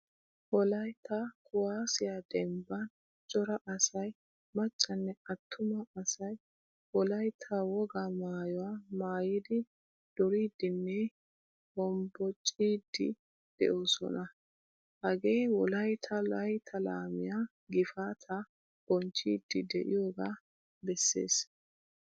Wolaytta kuwasiyaa dembban cora asay maccane attuma asay wolaytta wogaa maayuwaa maayidi duriidinne hombbocciidi de'osona. Hagee wolaytta laytta laamiyaa gifaataa boncchidi de'iyoga bessees.